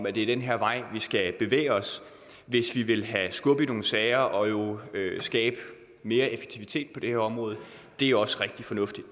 at det er den her vej vi skal bevæge os hvis vi vil have skub i nogen sager og jo skabe mere effektivitet på det her område det er også rigtig fornuftigt